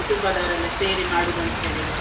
ಕುಟುಂಬದವರೆಲ್ಲ ಸೇರಿ ಮಾಡುವುದಂತ ಹೇಳಿದ್ರೆ.